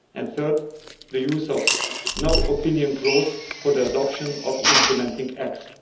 Thirdly, the use of the no opinion clause' for the adoption of implementing